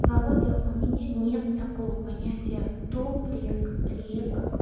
володя у меня нет такого понятия топ рек рек